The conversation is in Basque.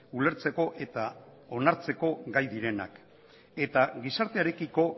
ulertzeko eta onartzeko gai direnak eta gizartearekiko